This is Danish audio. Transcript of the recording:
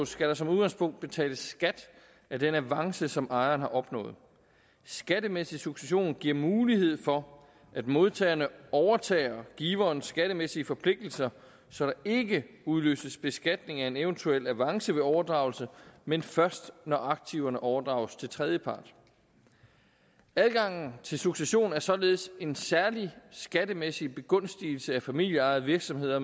skal der som udgangspunkt betales skat af den avance som ejeren har opnået skattemæssig succession giver mulighed for at modtagerne overtager giverens skattemæssige forpligtelser så der ikke udløses beskatning af en eventuel avance ved overdragelse men først når aktiverne overdrages til tredjepart adgangen til succession er således en særlig skattemæssig begunstigelse af familieejede virksomheder